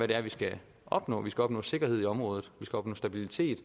det er vi skal opnå vi skal opnå sikkerhed i området vi skal opnå stabilitet